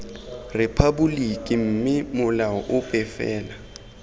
rephaboliki mme molao ope fela